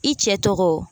I cɛ tɔgɔ